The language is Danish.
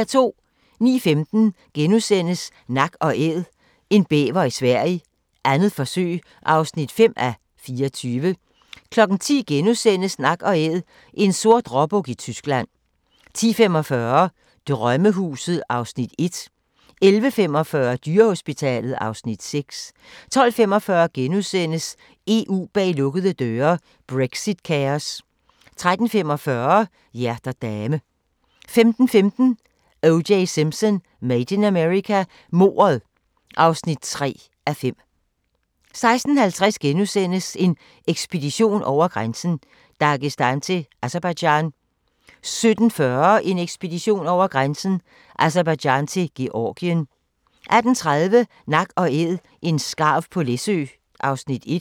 09:15: Nak & Æd – en bæver i Sverige, 2. forsøg (5:24)* 10:00: Nak & Æd – en sort råbuk i Tyskland * 10:45: Drømmehuset (Afs. 1) 11:45: Dyrehospitalet (Afs. 6) 12:45: EU bag lukkede døre: Brexit-kaos * 13:45: Hjerter dame 15:15: O.J. Simpson: Made in America – mordet (3:5) 16:50: En ekspedition over grænsen: Dagestan til Aserbajdsjan * 17:40: En ekspedition over grænsen: Aserbajdsjan til Georgien 18:30: Nak & Æd – en skarv på Læsø (Afs. 1)